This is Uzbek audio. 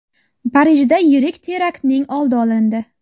Parijda yirik teraktning oldi olindi.